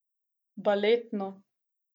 Baletno.